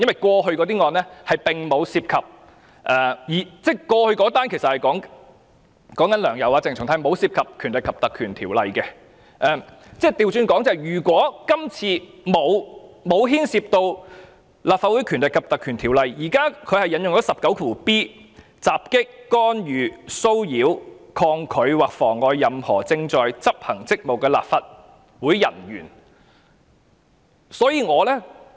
過去的案件，即"梁游"案及鄭松泰案並沒有涉及《條例》，而今次律政司卻引用《條例》第 19b 條作出檢控，即："襲擊、干預、騷擾、抗拒或妨礙任何正在執行職責的立法會人員"。